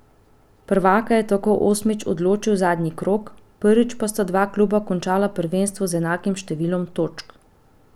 Prvaka je tako osmič odločil zadnji krog, prvič pa sta dva kluba končala prvenstvo z enakim številom točk.